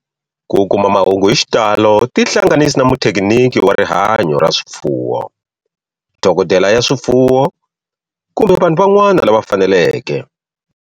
Ku kuma mahungu hi xitalo tihlanganisi na muthekiniki wa rihanyo ra swifuwo, dokodela ya swifuwo, kumbe vanhu van'wana lava faneleke.